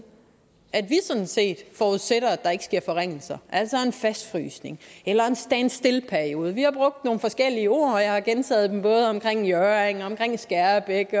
at vi sådan set forudsætter at der ikke sker forringelser altså en fastfrysning eller en standstillperiode vi har brugt nogle forskellige ord og jeg har gentaget dem både omkring hjørring og omkring skærbæk